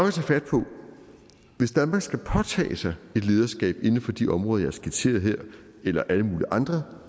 at tage fat på hvis danmark skal påtage sig et lederskab inden for de områder jeg har skitseret her eller alle mulige andre